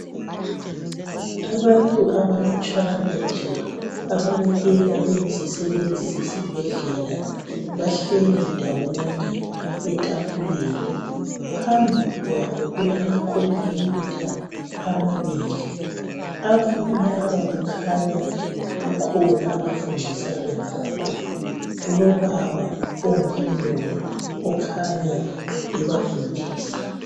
Abantu abalutshwana nje ababukeka beyizisebenzi zisebhedlele bahleli ndawonye etafuleni. Phambi kwabo kulamakhompuyutha amabili. Abantu laba kukhanya kukhona abafundisana ngakho. Kulobaba ungumlungu obafundisayo.